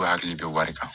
U hakili bɛ wari kan